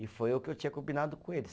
E foi o que eu tinha combinado com eles.